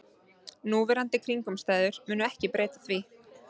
Núverandi kringumstæður munu ekki breyta því